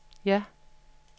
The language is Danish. ja